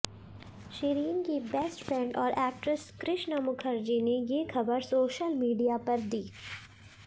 शिरीन की best friend और actress Krishna Mukherjee ने ये खबर सोशल मीडिया पर दी